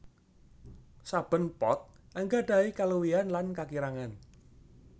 Saben pot anggadhahi kaluwihan lan kakirangan